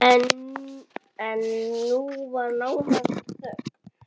En nú var nánast þögn!